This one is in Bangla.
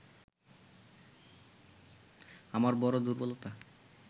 আমার বড় দুর্বলতা